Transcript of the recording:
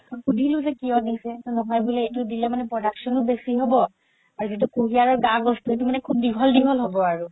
সুধিলো যে কিয় দিছে নহয় বুলে এইটো দিলে মানে production ও বেচি হ'ব আৰু যিতো কুহিয়াৰৰ গা গছতো সেইটো মানে খুব দীঘল দীঘল হ'ব আৰু